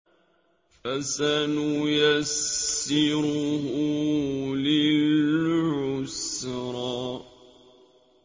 فَسَنُيَسِّرُهُ لِلْعُسْرَىٰ